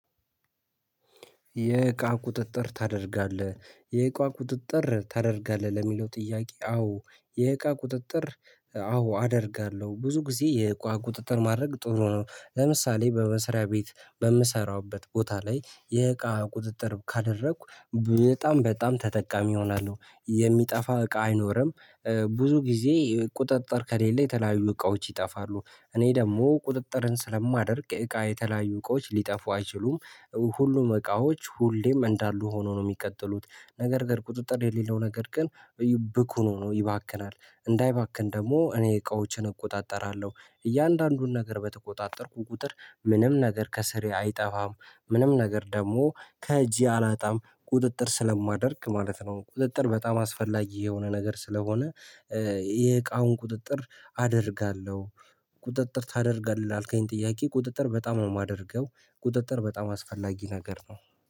የእቃ ቁጥጥር ታደርጋለህ? የእቃ ቁጥጥር ታደርጋለህ ለሚለው ጥያቄ አዎ የእቃ ቁጥጥር አዎ አደርጋለሁ ብዙ ጊዜ የእቃ ቁጥጥር ማድረግ ጥሩ ነው። ለምሳሌ በመስሪያ ቤት በምሰራበት ቦታ ላይ የእቃ ቁጥጥር ካደረኩ በጣም በጣም ተጠቃሚ እሆናለሁ የሚጠፋ እቃ አይኖርም ብዙ ጊዜ ቁጥጥር ከሌለ የተለያዩ እቃዎች ይጠፋሉ። እኔ ደግሞ ቁጥጥርን ስለማደርግ እቃ የተለያዩ እቃዎች ሊጠፉ አይችሉም ሁሉም እቃዎች ሁሌም እንዳሉ ሆኖ ነው ሚቀጥሉት ነገር ግን ቁጥጥር የሌለው ነገር ግን ብኩን ሆኖ ይባክናል እንዳይባክን ደግሞ እኔ እቃዎችን እቆጣጠራለሁ። እያንዳንዱን ነገር በተቆጣጠርኩ ቁጥር ምንም ነገር ከስሬ አይጠፋም ምንም ነገር ደግሞ ከእጄ አላጣም ቁጥጥር ስለማደርግ ማለት ነው። ቁጥጥር በጣም አስፈላጊ የሆነ ነገር ስለሆነ የእቃውን ቁጥጥር አደርጋለሁ ቁጥጥር ታደርጋለህ? ላልከኝ ጥያቄ ቁጥጥር በጣም ነው ማደርገው ቁጥጥር በጣም አስፈላጊ ነገር ነው።